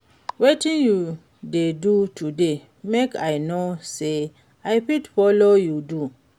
Wetin you dey do today make i know say i fit follow you do?